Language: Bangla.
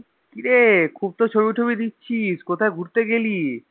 কিরে খুব তো ছবি টবি দিচ্ছিস কোথায় ঘুরতে গেলি?